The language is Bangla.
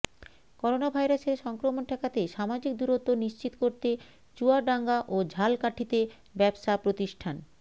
করোনাভাইরাসের সংক্রমণ ঠেকাতে সামাজিক দূরত্ব নিশ্চিত করতে চুয়াডাঙ্গা ও ঝালকাঠিতে ব্যবসা প্রতিষ্ঠান